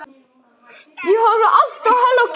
Syn gætir dyra í höllum